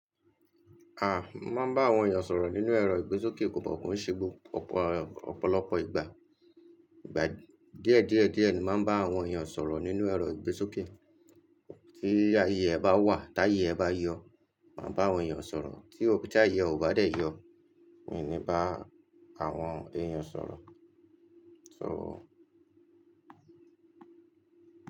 Aah, máa bá àwọn èèyàn sọ̀rọ̀ nínú ẹ̀rọ ìgbésókè kò kan kii se ọ̀pọ̀lọpọ̀ ìgbà. Ìgbà díẹ̀díẹ̀díẹ̀ ni máa ń bá àwọn èèyàn sọ̀rọ̀ nínú ẹ̀rọ ìgbésókè. Tí ayé ẹ bá wà, tí ayé ẹ bá yọ, máa bá àwọn èèyàn sọ̀rọ̀. Tí ayé ò bá dé yọ, mi ò ní bá àwọn èèyàn sọ̀rọ̀. So.